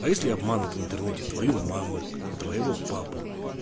а если обманули в интернете твою маму и твоего папу